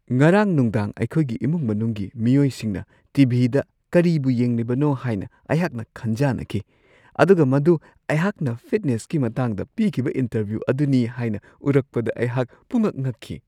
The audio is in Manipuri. ꯉꯔꯥꯡ ꯅꯨꯡꯗꯥꯡ ꯑꯩꯈꯣꯏꯒꯤ ꯏꯃꯨꯡ-ꯃꯅꯨꯡꯒꯤ ꯃꯤꯑꯣꯏꯁꯤꯡꯅ ꯇꯤ.ꯚꯤ.ꯗ ꯀꯔꯤꯕꯨ ꯌꯦꯡꯂꯤꯕꯅꯣ ꯍꯥꯏꯅ ꯑꯩꯍꯥꯛꯅ ꯈꯟꯖꯥꯟꯅꯈꯤ ꯑꯗꯨꯒ ꯃꯗꯨ ꯑꯩꯍꯥꯛꯅ ꯐꯤꯠꯅꯦꯁꯀꯤ ꯃꯇꯥꯡꯗ ꯄꯤꯈꯤꯕ ꯏꯟꯇꯔꯚ꯭ꯌꯨ ꯑꯗꯨꯅꯤ ꯍꯥꯏꯅ ꯎꯔꯛꯄꯗ ꯑꯩꯍꯥꯛ ꯄꯨꯡꯉꯛ-ꯉꯛꯈꯤ ꯫